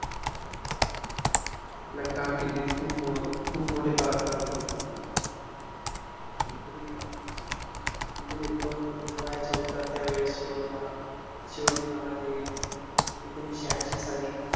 आपल्या कारकिर्दीत खूप मो खूप मोठे पराक्रम केले. तरी ते पण वयाच्या उतरत्या होत्या त्या वेळेस शिवाजी महा शिवाजी महाराज हे एकोणिसशे ऐंशीसाली